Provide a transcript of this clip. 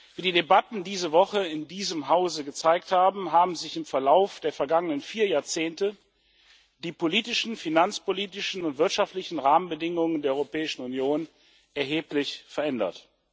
Wie die Debatten diese Woche in diesem Hause gezeigt haben, haben sich im Verlauf der vergangenen vier Jahrzehnte die politischen, finanzpolitischen und wirtschaftlichen Rahmenbedingungen der Europäischen Union erheblich verändert.